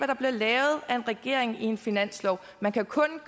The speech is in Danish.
der bliver lavet af en regering i en finanslov man kan kun